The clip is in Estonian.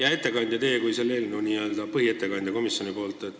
Hea ettekandja, te olete selle eelnõu n-ö põhiettekandja komisjoni nimel.